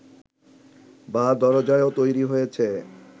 বা দরজাও তৈরি হয়েছে